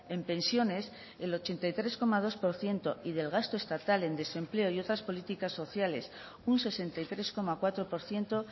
en pensiones el ochenta y tres coma dos por ciento y del gasto estatal en desempleo y otras políticas sociales un sesenta y tres coma cuatro por ciento